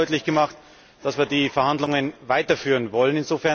Und wir haben auch deutlich gemacht, dass wir die Verhandlungen weiterführen wollen.